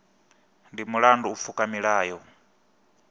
ndi mulandu u pfuka milayo